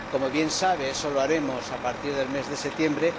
Como bien sabe, eso lo haremos a partir del mes de septiembre.